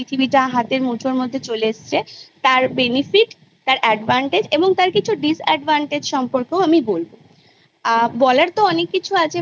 সেটা আচার ব্যবহার কার সাথে কিরকম ভাবে আমরা মিশবো কথা বলবো ভালো মন্দ বিচার করা ইটা আমরা আমাদের পরিবার থেকে আমরা পেয়ে থাকি